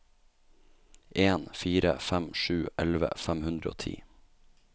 en fire fem sju elleve fem hundre og ti